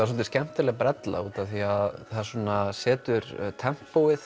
svolítið skemmtileg brella því að það setur